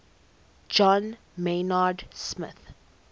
john maynard smith